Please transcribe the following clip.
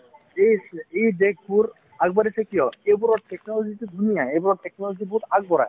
এই এই দেশবোৰ আগবাঢ়িছে কিয় সেইবোৰত technology তো ধুনীয়া এইবোৰত technology বহুত আগবঢ়া